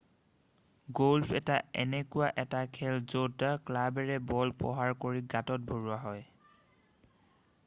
golf এটা এনেকুৱা এটা খেল য'ত ক্লাৱেৰে বল প্ৰহাৰ কৰি গাতত ভৰোৱা হয়